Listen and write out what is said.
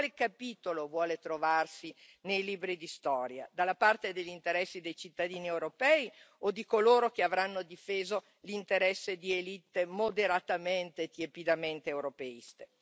In quale capitolo vuole trovarsi nei libri di storia, dalla parte degli interessi dei cittadini europei o di coloro che avranno difeso l'interesse di élite moderatamente e tiepidamente europeiste?